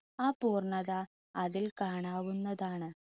ആ പൂർണത അതിൽ കാണാവുന്നതാണ്.